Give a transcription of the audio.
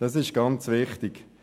Das ist ganz wichtig.